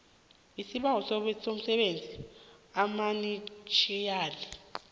sibawa usebenzise amainitjhiyali